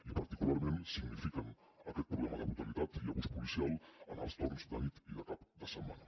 i particularment signifiquen aquest problema de brutalitat i abús policial en els torns de nit i de cap de setmana